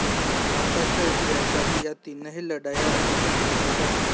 भारताच्या इतिहासात या तीनही लढाया अतिशय महत्त्वाच्या आहेत